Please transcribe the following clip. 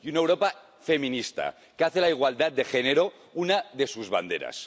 Y una Europa feminista que hace de la igualdad de género una de sus banderas.